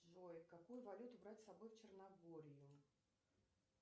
джой какую валюту брать с собой в черногорию